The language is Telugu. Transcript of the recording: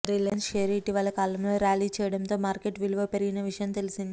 రిలయన్స్ షేరు ఇటీవలి కాలంలో ర్యాలీ చేయడంతో మార్కెట్ విలువ పెరిగిన విషయం తెలిసిందే